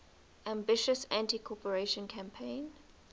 ambitious anticorruption campaign